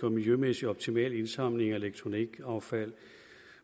og miljømæssigt optimal indsamling af elektronikaffald